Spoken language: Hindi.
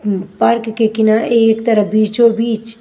पार्क के किनारे एक तरफ बीचोंबीच --